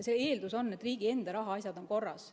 Selle eeldus on, et riigi enda rahaasjad on korras.